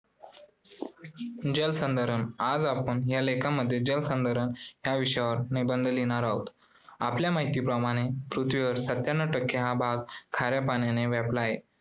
जलसंधारण. आज आपण या लेखामध्ये जलसंधारण या विषयावर निबंध लिहिणार आहोत. आपल्या माहितीप्रमाणे पृथ्वीवर सत्यांनव टक्के हा भाग खाऱ्या पाण्याने व्यापला आहे